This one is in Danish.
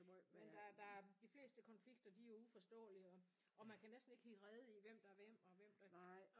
Men der der de fleste konflikter de er uforståelige og og man kan næsten ikke hitte rede i hvem der er hvem og hvem der